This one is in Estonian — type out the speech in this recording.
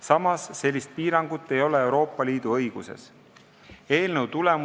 Samas Euroopa Liidu õiguses sellist piirangut ei ole.